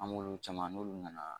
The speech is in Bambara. An m'olu caman n'olu nana